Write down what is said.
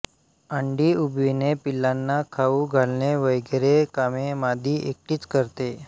अंडी उबविणे पिलांना खाऊ घालणे वगैरे कामे मादी एकटीच करते